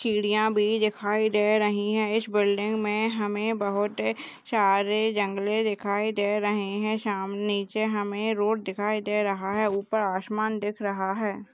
चिड़िया भी दिखाई दे रही है इस बिल्डिंग में हमें बहुत सारे जंगले दिखाई दे रहे हैं सामने नीचे हमें रोड दिखाई दे रहा है ऊपर आसमान दिख रहा है।